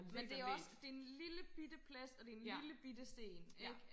men det er også det er en lille bitte plads og det er en lille bitte sten